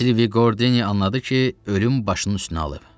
Silvi Qordeni anladı ki, ölüm başının üstünü alıb.